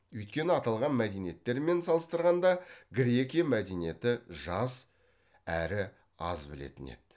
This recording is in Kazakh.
өйткені аталған мәдениеттермен салыстырғанда грекия мәдениеті жас әрі аз білетін еді